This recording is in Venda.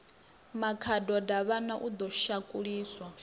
makhado davhana o ḓo shakuliswa